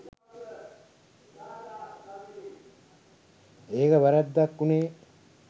ඒක වැරැද්දක් උනේ